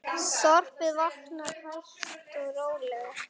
Þorpið vaknar hægt og rólega.